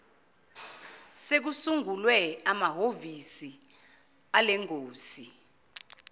sekusungulwe amahovisi alengosi